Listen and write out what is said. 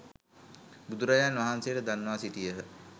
බුදුරජාණන් වහන්සේට දන්වා සිටියහ.